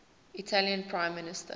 italian prime minister